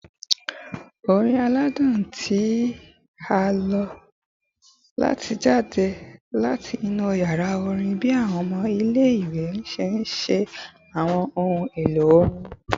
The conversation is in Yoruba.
Awọn orin aladun ti a lo lati jade lati inu yara orin bi awọn ọmọ ile-iwe ṣe nṣe awọn ohun elo orin